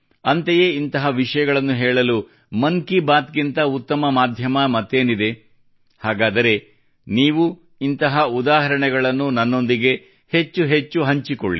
ಅಂತೆಯೇ ಇಂತಹ ವಿಷಯಗಳನ್ನು ಹೇಳಲು ಮನ್ ಕಿ ಬಾತ್ ಗಿಂತ ಉತ್ತಮ ಮಾಧ್ಯಮ ಮತ್ತೇನಿದೆ ಹಾಗಾದರೆ ನೀವು ಇಂತಹ ಉದಾಹಣೆಗಳನ್ನು ನನ್ನೊಂದಿಗೆ ಹೆಚ್ಚು ಹೆಚ್ಚು ಹಂಚಿಕೊಳ್ಳಿ